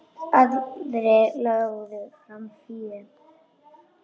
Aðrir lögðu fram fé.